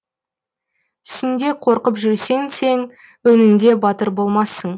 түсіңде қорқып жүрсең сен өңіңде батыр болмассың